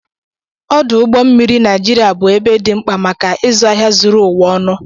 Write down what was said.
Ọdụ ụgbọ mmiri Naijiriya bụ ebe dị mkpa maka ịzụ ahịa zuru ụwa ọnụ.